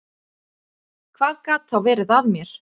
Hvað gat þá verið að mér?